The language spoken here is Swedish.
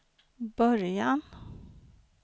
början